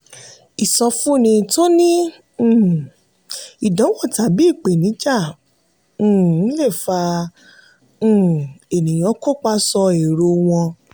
ìsọfúnni tó ní um ìdánwò tàbí ìpèníjà um le fà um ènìyàn kópa sọ èrò wọn.